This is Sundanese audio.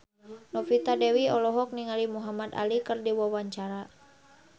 Novita Dewi olohok ningali Muhamad Ali keur diwawancara